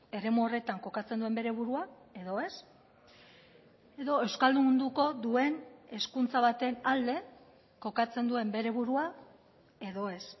eremu horretan kokatzen duen bere burua edo ez edo euskaldunduko duen hezkuntza baten alde kokatzen duen bere burua edo ez